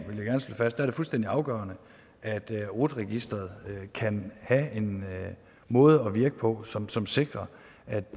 slå fast er det fuldstændig afgørende at rut registeret kan have en måde at virke på som som sikrer at